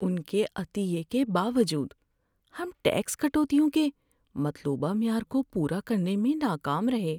ان کے عطیے کے باوجود ہم ٹیکس کٹوتیوں کے مطلوبہ معیار کو پورا کرنے میں ناکام رہے۔